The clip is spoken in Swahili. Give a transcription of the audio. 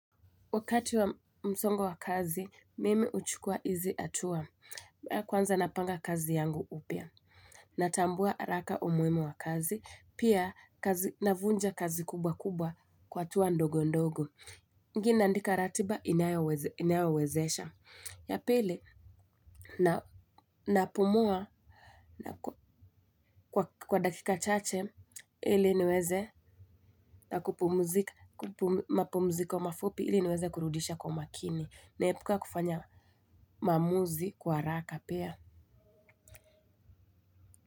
Wakati wa msongo wa kazi, mimi huchukua hizi hatua. Kwanza napanga kazi yangu upya. Natambua haraka umuhimu wa kazi. Pia, navunja kazi kubwa kubwa kwa hatua ndogo ndogo. Inginie naandika ratiba inayowezesha. Ya pili, napumua kwa dakika chache, ili niweze mapumziko mafupi ili niweze kurudisha kwa makini. Naepuka kufanya maamuzi kwa haraka pia.